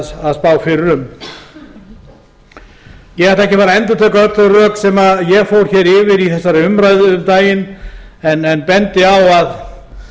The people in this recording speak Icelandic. um ég ætla ekki að fara að endurtaka öll þau rök sem ég fór hér yfir í þessari umræðu um daginn en bendi á að